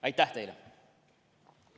Aitäh teile!